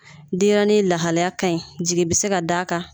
Denɲɛrɛnin lahalaya ka ɲi jigi bɛ se ka d'a kan